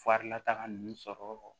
Farilataga ninnu sɔrɔ